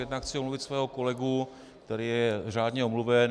Jednak chci omluvit svého kolegu, který je řádně omluven.